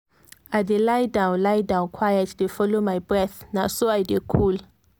i dey lie down lie down quiet dey follow my breath na so i dey cool.